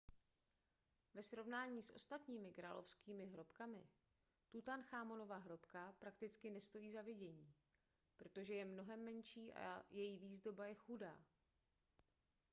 ve srovnání s ostatními královskými hrobkami tutanchamonova hrobka prakticky nestojí za vidění protože je mnohem menší a její výzdoba je chudá